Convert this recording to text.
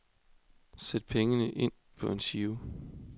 Sæt pengene ind på en giro.